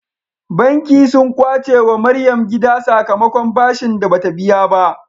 Banki sun kwace wa maryam gida sakamakon bashin da bata biya ba